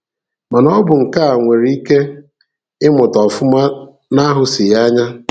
Mana, ọ bụ nkà e nwere ike ịmụta ọfụma na-ahụsighi anya.